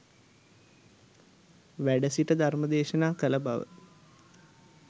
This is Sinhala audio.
වැඩ සිට ධර්මදේශනා කළ බව